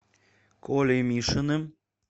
колей мишиным